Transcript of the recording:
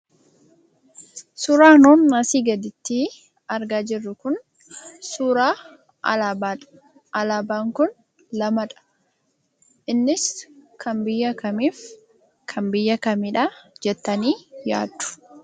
Suuraan nun asii gaditti argaa jirru kun suuraa alaabaadha. Alaabaan kun lamadha. Innis kan biyya kamiif kan biyya kamiidha jettanii yaaddu?